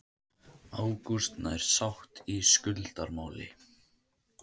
Ágúst nær sátt í skuldamáli